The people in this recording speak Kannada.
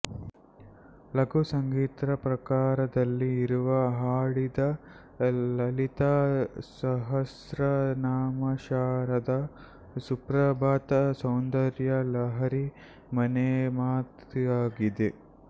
ಲಘು ಸಂಗೀತ ಪ್ರಕಾರದಲ್ಲಿ ಇವರು ಹಾಡಿದ ಲಲಿತಾ ಸಹಸ್ತ್ರನಾಮಶಾರದಾ ಸುಪ್ರಭಾತಸೌಂದರ್ಯ ಲಹರಿ ಮನೆಮಾತಾಗಿದೆ